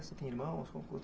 Você tem irmãos?